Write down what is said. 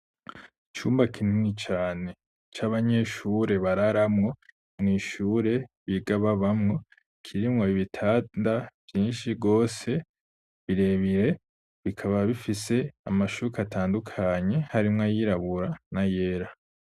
Icumba kinini cane c'abanyeshure bararamwo mw'ishure biga babamwo kirimwo ibitanda vyinshi bwose birebire bikaba bifise amashuka atandukanye harimwo ayirabura na yera.